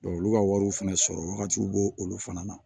olu ka wariw fana sɔrɔ wagatiw b'o olu fana na